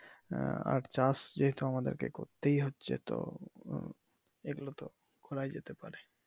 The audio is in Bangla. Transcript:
আর চাষ যেহেতু আমাদেরকে করতেই হচ্ছে তো এইগুলো তো করাই যেতে পারে।